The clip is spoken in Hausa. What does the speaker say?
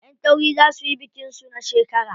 Ƴan tauri za suyi bikin su na shekara.